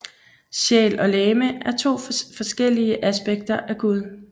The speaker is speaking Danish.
Sjæl og legeme er to forskellige aspekter af gud